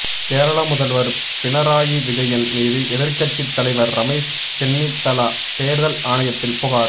கேரளா முதல்வர் பினராயி விஜயன் மீது எதிர்கட்சி தலைவர் ரமேஷ் சென்னிதலா தேர்தல் ஆணையத்தில் புகார்